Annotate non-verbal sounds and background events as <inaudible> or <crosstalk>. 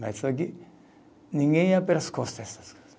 Mas só que ninguém ia pelas costas <unintelligible>